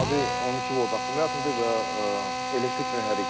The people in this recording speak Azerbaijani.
Adı 12 volt akkumulyatordur və elektrik mühərrikdir.